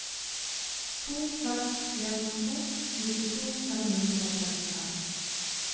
to fem en to nittito fem hundre og trettifem